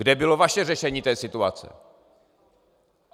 Kde bylo vaše řešení té situace?